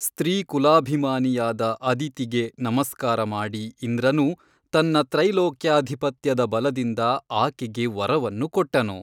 ಸ್ತ್ರೀಕುಲಾಭಿಮಾನಿಯಾದ ಅದಿತಿಗೆ ನಮಸ್ಕಾರ ಮಾಡಿ ಇಂದ್ರನು ತನ್ನ ತ್ರೈಲೋಕ್ಯಾಧಿಪತ್ಯದ ಬಲದಿಂದ ಆಕೆಗೆ ವರವನ್ನು ಕೊಟ್ಟನು.